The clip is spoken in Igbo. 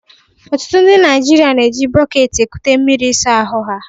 Ọtụtụ ndị Naijiria na-eji bọket ekute mmiri ịsa ahụ ha.